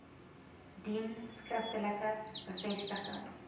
dien skriftelike bevestiging